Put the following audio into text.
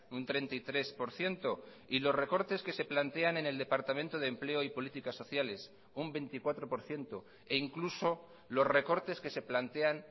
un treinta y tres por ciento y los recortes que se plantean en el departamento de empleo y políticas sociales un veinticuatro por ciento e incluso los recortes que se plantean